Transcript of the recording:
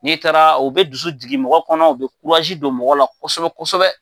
N'i taara u be dusu jigin mɔgɔ kɔnɔ, u be don mɔgɔ la kosɛbɛ kosɛbɛ